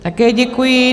Také děkuji.